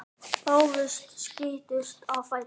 Báðir skutust á fætur.